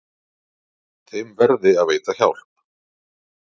Þeim verði að veita hjálp.